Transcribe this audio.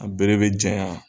A bere bɛ janyan